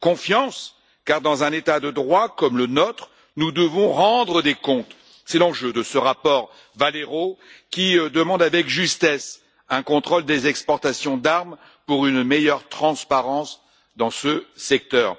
Confiance, car dans un État de droit comme le nôtre, nous devons rendre des comptes, c'est l'enjeu de ce rapport Valero qui demande avec justesse un contrôle des exportations d'armes pour une meilleure transparence dans ce secteur.